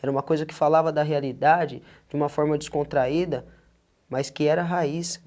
Era uma coisa que falava da realidade, de uma forma descontraída, mas que era raiz.